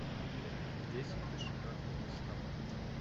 десять дошираков доставка